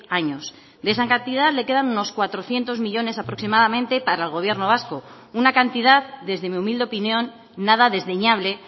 años de esa cantidad le quedan unos cuatrocientos millónes aproximadamente para el gobierno vasco una cantidad desde mi humilde opinión nada desdeñable